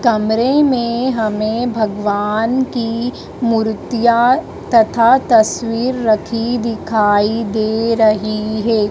कमरे में हमें भगवान की मूर्तियाँ तथा तस्वीर रखी दिखाई दे रहीं है।